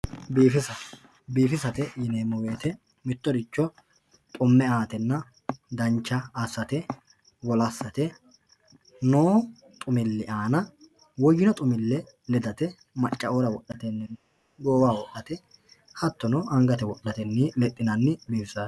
biifisa biifisate yineemo woyiite mittoricho xumme aate dancha assate wolassate noo xumilli aana woyinno xumille ledate maccateoora woxate goowaho woxate hattono angate woxate bifisa